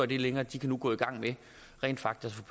det længere de kan nu gå i gang med rent faktisk